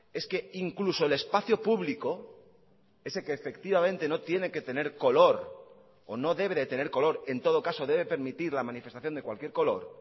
es que incluso el espacio público ese que efectivamente no tiene que tener color o no debe de tener color en todo caso debe permitir la manifestación de cualquier color